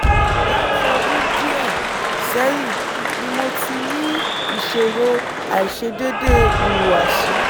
láti ọdún díẹ̀ sẹ́yìn ni mo ti ń ní ìṣòro àìṣedéédé ìhùwàsí